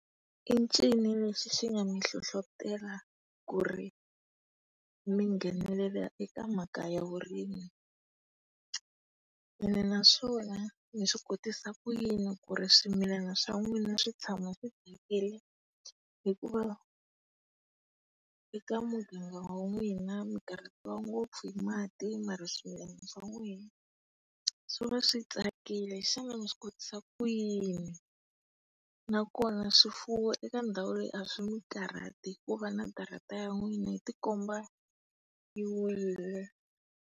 I ncini lexi xi nga mi hlohlotela ku ri mi nghenelela eka mhaka ya vurimi? Ene naswona, mi swi kotisa ku yini ku ri swimilana swa n'wina swi tshama swi tsakile hikuva eka muganga wa n'wina mikarhatiwa ngopfu hi mati mara swimilana swa n'wehe swi va swi tsakile xana mi swi kotisa kuyini? Na kona swifuwo eka ndhawu leyi a swi mi karhati hikuva na darhata ya n'wina yi tikomba yi wile?